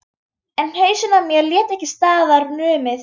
En hausinn á mér lét ekki staðar numið.